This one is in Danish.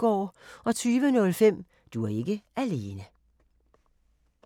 20:05: Du er ikke alene